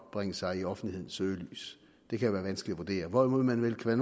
bringe sig i offentlighedens søgelys det kan være vanskeligt at vurdere hvorimod man vel kan